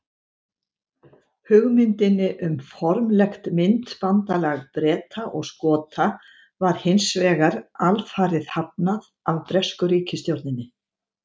Hugmyndinni um formlegt myntbandalag Breta og Skota var hins vegar alfarið hafnað af bresku ríkisstjórninni.